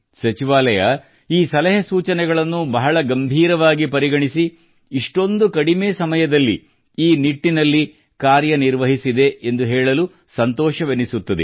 ಸಚಿವಾಲಯ ಈ ಸಲಹೆ ಸೂಚನೆಗಳನ್ನು ಬಹಳ ಗಂಭೀರವಾಗಿ ಪರಿಗಣಿಸಿ ಇಷ್ಟೊಂದು ಕಡಿಮೆ ಸಮಯದಲ್ಲಿ ಈ ನಿಟ್ಟಿನಲ್ಲಿ ಕಾರ್ಯನಿರ್ವಹಿಸಿದೆ ಎಂದು ಹೇಳಲು ಸಂತೋಷವೆನಿಸುತ್ತದೆ